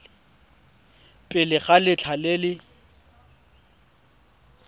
pele ga letlha le le